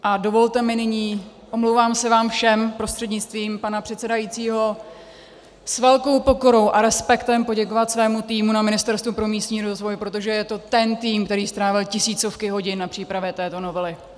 A dovolte mi nyní, omlouvám se vám všem prostřednictvím pana předsedajícího, s velkou pokorou a respektem poděkovat svému týmu na Ministerstvu pro místní rozvoj, protože je to ten tým, který strávil tisícovky hodin na přípravě této novely.